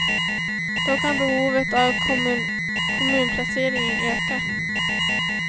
Då kan behovet av kommunplaceringar öka.